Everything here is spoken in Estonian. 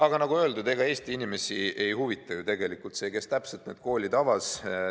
Aga nagu öeldud, ega Eesti inimesi ei huvita ju tegelikult see, kes täpselt koolid avas.